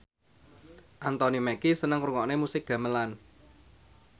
Anthony Mackie seneng ngrungokne musik gamelan